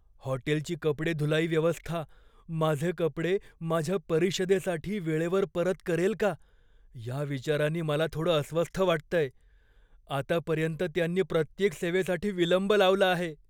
हॉटेलची कपडे धुलाई व्यवस्था माझे कपडे माझ्या परिषदेसाठी वेळेवर परत करेल का, या विचारानी मला थोडं अस्वस्थ वाटतंय. आतापर्यंत त्यांनी प्रत्येक सेवेसाठी विलंब लावला आहे.